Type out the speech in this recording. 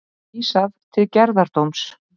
Vísað til gerðardóms